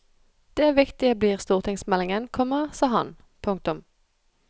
Det viktige blir stortingsmeldingen, komma sa han. punktum